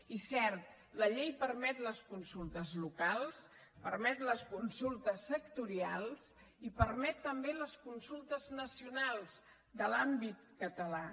i cert la llei permet les consultes locals permet les consultes sectorials i permet també les consultes nacionals de l’àmbit català